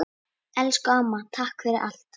Elsku amma, takk fyrir allt!